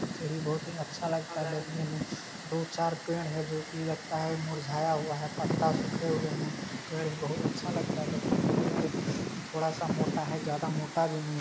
सींढ़ि बोहोत ही अच्छा लगता है देखने में दो चार पेड़ हैं जो कि लगता है मुरझाया हुआ है पत्ता सूखे हुए हैं पेड़ बहुत अच्छा लगता है देखने में पेड़ थोड़ा-सा मोटा है ज्यादा मोटा भी नी --